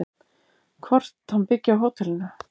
Hvort hann byggi á hótelinu?